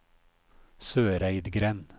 Søreidgrend